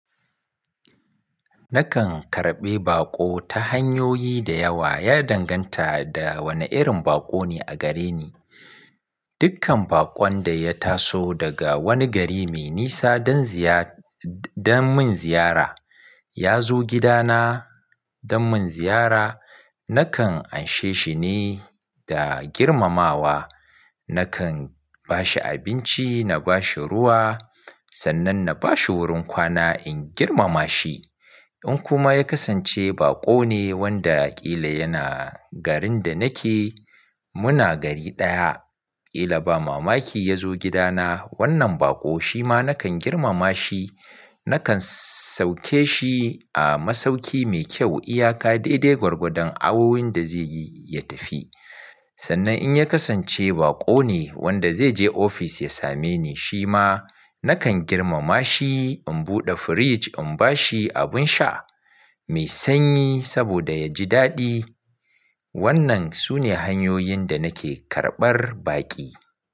Nakan karɓi baƙo ta hanyoyi da yawa, ya danganta da wani irin baƙo ne a gare ni. Dukkan baƙon da ya taso daga wani gari me nisa don ziyad-dan mun ziyara, ya zo gidana dan mun ziyara, nakan anshe shi ne da girmamawa. Nakan bashi abinci, na bashi ruwa, sannan na bashi wurin kwana in girmama shi. In kuma ya kasance baƙo ne wanda ƙila yana garin da nake, muna gari ɗaya, ƙila ba mamaki ya zo gidana, wannan baƙo shi ma nakan girmama shi. Nakan sauke shi a masauki mai kyau, iyaka dai-dai gwargwadon awowin da zai yi ya tafi. Sannan in ya kasance baƙo ne wanda zai je ofis ya same ni, shi ma nakan girmama shi. In buɗe firij, in bashi abin sha mai sanyi saboda ya ji daɗi. Wannan sune hanyoyin da nake karɓar baƙi.